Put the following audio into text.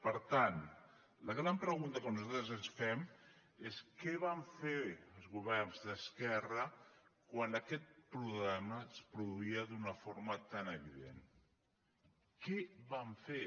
per tant la gran pregunta que nosaltres ens fem és què van fer els governs d’esquerra quan aquest problema es produïa d’una forma tan evident què van fer